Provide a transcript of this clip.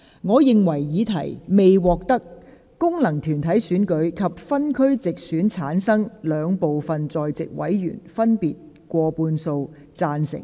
我認為議題未獲得經由功能團體選舉產生及分區直接選舉產生的兩部分在席委員，分別以過半數贊成。